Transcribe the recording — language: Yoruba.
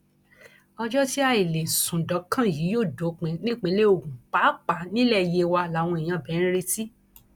ọjọ tí àì lè sùn dọkàn yìí yóò dópin nípìnlẹ ogun pàápàá nílẹ yewa làwọn èèyàn ibẹ ń retí